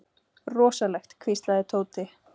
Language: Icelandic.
Rosalegt hvíslaði Tóti.